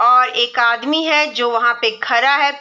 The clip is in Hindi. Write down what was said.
और एक आदमी है जो वहाँ पर खड़ा है।